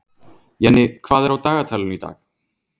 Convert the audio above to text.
Jenni, hvað er á dagatalinu í dag?